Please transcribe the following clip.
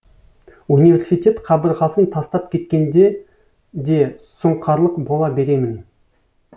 университет қабырғасын тастап кеткенде де сұңқарлық бола беремін